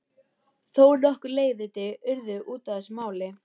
Þó nokkur leiðindi urðu út af þessu máli.